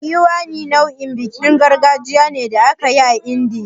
Diwali nau'in bikin gargajiya ne da ake yi a Indiya.